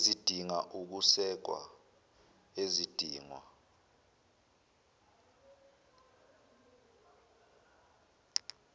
ezidinga ukusekwa ezidingwa